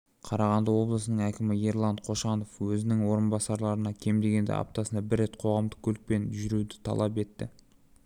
қарағанды облысының әкімі ерлан қошанов өзінің орынбасарларынан кем дегенде аптасына бір рет қоғамдық көлікпенжүруді талап етті